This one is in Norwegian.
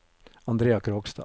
Andrea Krogstad